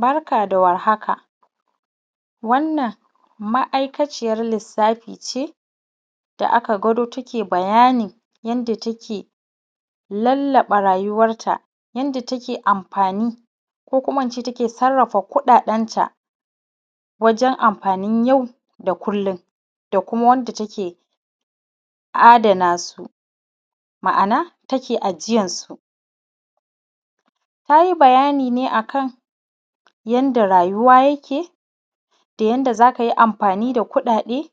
Barka da warhaka wannan ma’aikaciyar lissafi ce da aka gwado take bayanin yanda take lallaɓa rayuwarta yanda take amfani ko kuma in ce yanda take sarrafa kuɗaɗenta wajen amfanin yau da kullum da kuma wanda take adanasu, ma’ana take ajiyansu, ta yi bayani ne akan yanda rayuwa yake da yanda za ka yi amfani da kuɗaɗe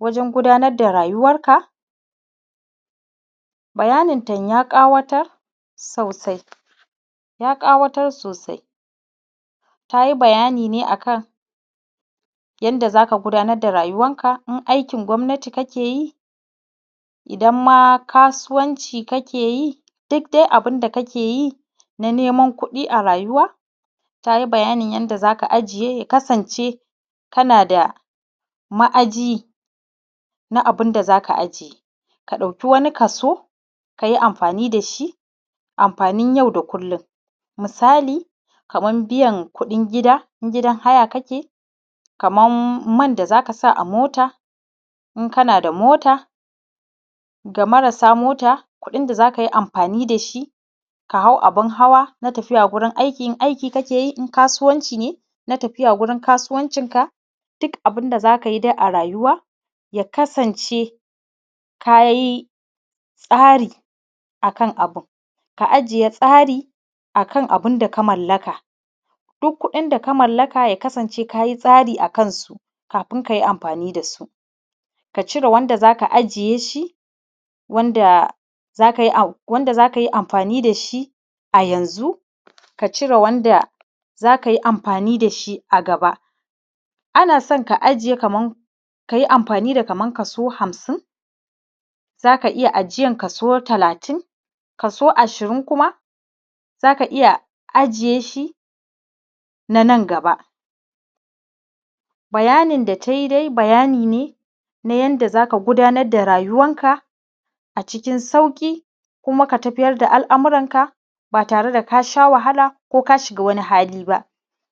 wajen gudanar da rayuwanka. Bayaninta kam ya ƙawatar sosai ta yi bayani ne akan yanda za ka gudanar da rayuwanka, in aikin gwamnati kake yi idan ma kasuwanci kake yi duk dai abun da kake yi na neman kuɗi a rayuwa, ta yi bayanin yanda za ka ajiye ya kasance kana da ma’aji na abun da za ka ajiye ka ɗauki wani kaso ka yi amfani da shi amfanin yau da kullum misali kaman biyan kuɗin gida in gidan haya kake, kaman man da za ka sa a mota in kana da mota ga marasa mota kuɗin da za ka yi amfani da shi ka hau abun hawa na tafiya gurin aiki, in aiki kake yi in kasuwanci kake yi na tafiya gurin kasuwancinka. Duk abun da za ka yi dai a rayuwa ya kasance ka yi tsari akan abun ka ajiye tsari akan abun da ka mallaka duk kuɗin da ka mallaka ya kasance ka yi tsari akan su kafin ka yi amfani da su ka cire wanda za ka ajiye shi, wanda za ka yi amfani da shi a yanzun ka cire wanda za ka yi amfani da shi a gaba. Ana san ka ajiye kaman ka yi amfani da kaso hamsin, za ka iya ajiya kaso talatin, kaso ashirun kuma za ka iya ajiye shi na nan gaba. Bayanin da ta yi dai bayani ne na yanda za ka gudanar da rayuwarka a cikin sauƙi kuma ka tafiyar da al’amuranka ba tare da ka sha wahala ko ka shiga wani hali ba,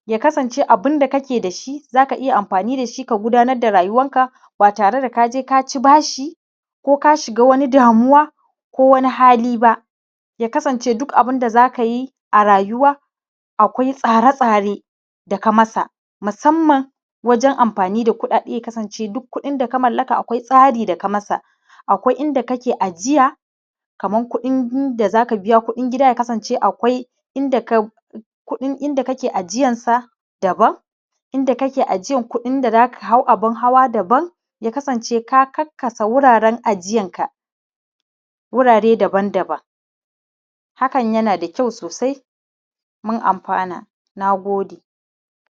ya kasance abun da kake da shi za ka iya amfani da shi ka gudanar da rayuwanka ba tare da ka je ka ci bashi ba ko ka shiga wani damuwa ko wani hali ba. ya kasance duk abun da za ka yi a rayuwa akwai tsare-tsare da ka masa musamman wajen amfani da kuɗaɗe ya kasance duk kuɗin da ka mallaka akwai tsari da ka mai, akwai inda kake ajiya kaman kuɗin da za ka biya kuɗin gida ya kasance akwai inda kake ajiyansa daban inda kake ajiyan kuɗin da za ka hau abun hawa daban, ya kasance ka karkasa wuraren ajiyanka wurare daban-daban hakan yana da kyau sosai mun amfana. Na gode.